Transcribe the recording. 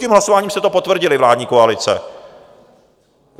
Tím hlasováním jste to potvrdili, vládní koalice.